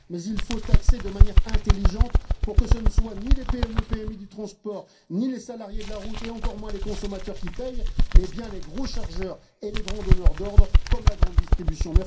Mais il faut taxer de manière intelligente, pour que ce ne soient ni les PME PMI du transport, ni les salariés de la route et encore moins les consommateurs qui paient, mais bien les gros chargeurs et les grands donneurs d'ordres comme la grande distribution.